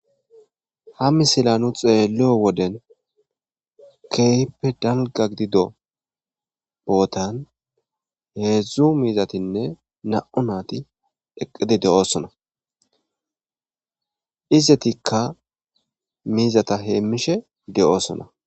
ha misila nu xeelliyo woden keehippe dalga gidido bootan heedzdzu miizatinne na7u naati eqqidi de7oosona izetikka miizata heemmishe de7oosona